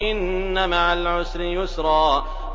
إِنَّ مَعَ الْعُسْرِ يُسْرًا